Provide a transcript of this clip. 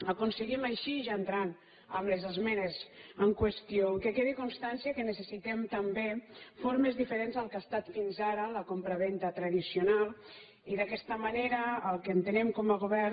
aconseguim així ja entrant en les esmenes en qüestió que quedi constància que necessitem també formes diferents del que ha estat fins ara la compravenda tradicional i d’aquesta manera el que entenem com a govern